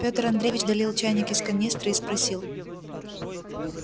пётр андреевич долил чайник из канистры и спросил